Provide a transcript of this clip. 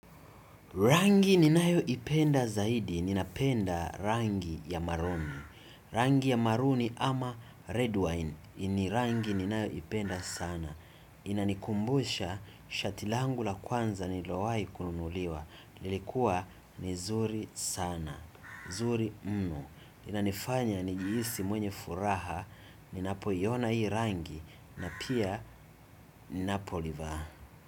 Rangi ni nayo ipenda zaidi ni napenda rangi ya maroon. Rangi ya maroon ama red wine ni rangi ni nayo ipenda sana. Inanikumbusha shatilangu la kwanza ni lilowai kununuliwa. Lilikua ni nzuri sanaa nzuri mno inanifanya ni jihisi mwenye furaha. Ninapo iyona hii rangi. Na pia ninapo livaa.